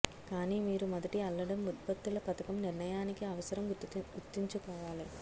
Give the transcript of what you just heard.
కానీ మీరు మొదటి అల్లడం ఉత్పత్తుల పథకం నిర్ణయానికి అవసరం గుర్తుంచుకోవాలి